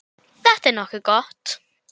Þetta er nokkuð gott.